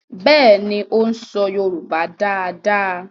Béèni o ń so yorùbá dá dá.